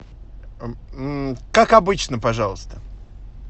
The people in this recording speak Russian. как обычно пожалуйста